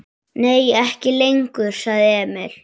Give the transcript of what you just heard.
Nei, ekki lengur, sagði Emil.